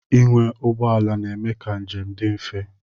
Ịnwe ụgbọala na-eme ka njem dị mfe.